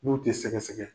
N'u tɛ sɛgɛsɛgɛ